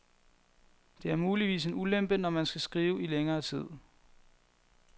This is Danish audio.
Det er muligvis en ulempe, når man skal skrive i længere tid.